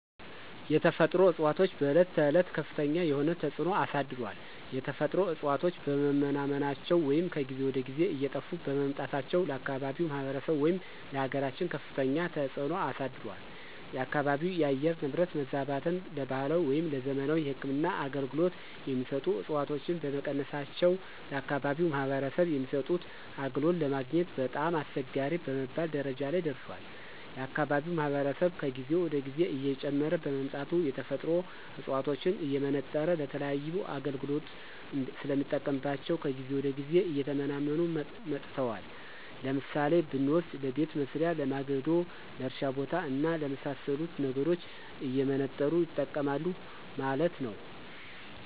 የተፈጥሮ እፅዋቶች በዕለት ተዕለት ከፍተኛ የሆነ ተፅዕኖ አሳድሯል። የተፈጥሮ እፅዋቶች በመመናመናቸው ወይም ከጊዜ ወደ ጊዜ እየጠፉ በመምጣታቸው ለአካባቢው ማህበረሰብ ወይም ለአገራችን ከፍተኛ ተፅዕኖ አሳድሯል። የአካባቢው የአየር ንብረት መዛባትን ለባህላዊ ወይም ለዘመናዊ የህክምና አገልገሎት የሚሰጡ ዕፅዋቶች በመቀነሳቸው ለአከባቢው ማህበረሰብ የሚሰጡት አገልግሎት ለማግኘት በጣም አስቸጋሪ በመባል ደረጃ ላይ ደርሷል። የአካባቢው ማህበረሰብ ከጊዜ ወደ ጊዜ እየጨመረ በመምጣቱ የተፈጥሮ ዕፅዋቶችን እየመነጠረ ለተለያዩ አገልግሎት ስለሚጠቀምባቸው ከጊዜ ወደ ጊዜ እየተመናመኑ መጥተዋል። ለምሳሌ ብንወስድ ለቤት መሥሪያ፣ ለማገዶ፣ ለእርሻ ቦታ እና ለመሣሰሉት ነገሮች እየመነጠሩ ይጠቀማሉ ማለት ነው።